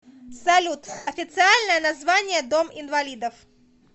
салют официальное название дом инвалидов